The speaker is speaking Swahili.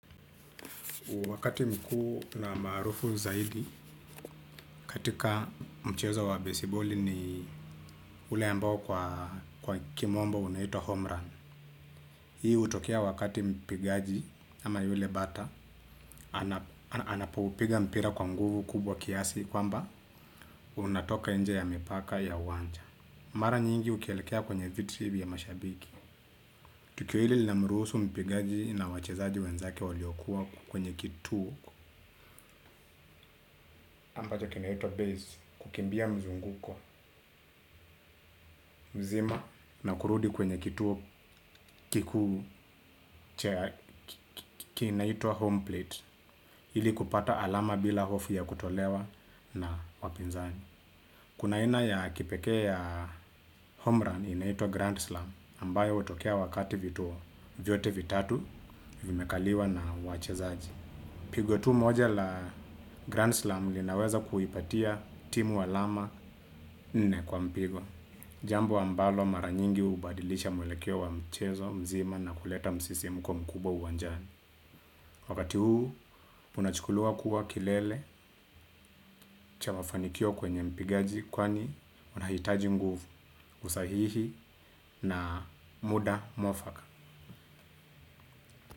Wakati mkuu na maarufu zaidi katika mchezo wa baseball ni ule ambao kwa kimombo unaitwa homerun. Hii utokea wakati mpigaji ama yule bata, anapo upiga mpira kwa nguvu kubwa kiasi kwamba unatoka nje ya mipaka ya wanja. Mara nyingi ukielekea kwenye viti vya mashabiki. Tukio hili lina mruhusu mpigaji na wachezaji wenzake waliokuwa kwenye kituo, ambacho kinaitwa base, kukimbia mzunguko mzima na kurudi kwenye kituo kikuu kinaitwa home plate ili kupata alama bila hofu ya kutolewa na wapinzani. Kuna aina ya kipekee ya home run inayoitwa Grand Slam, ambayo hutokea wakati vituo vyote vitatu vimekaliwa na wachezaji. Pigo tu moja la Grand Slam, linaweza kuipatia timu alama nne kwa mpigo. Jambo ambalo maranyingi hubadilisha mwelekeo wa mchezo mzima na kuleta msisimko mkubwa uwanjani. Wakati huu, unachukuliwa kuwa kilele cha mafanikio kwenye mpigaji, kwani unahitaji nguvu usahihi na muda mwafaka.